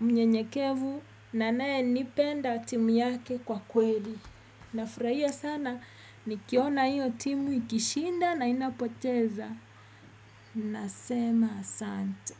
mnyenyekevu na anayenipenda timu yake kwa kweli. Nafurahia sana nikiona hiyo timu ikishinda na inapoteza. Nasema asante.